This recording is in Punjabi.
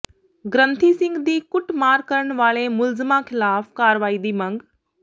ਗ੍ੰਥੀ ਸਿੰਘ ਦੀ ਕੁੱਟਮਾਰ ਕਰਨ ਵਾਲੇ ਮੁਲਜ਼ਮਾਂ ਖ਼ਿਲਾਫ਼ ਕਾਰਵਾਈ ਦੀ ਮੰਗ